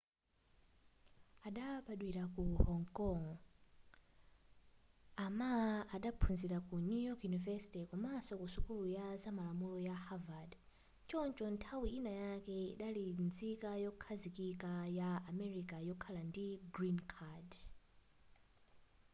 adabadwira ku hong kong a ma adaphunzira ku new york university komanso ku sukulu ya zamalamulo ya harvard choncho nthawi ina yake adali nzika yokhazikika ya america yokhala ndi green card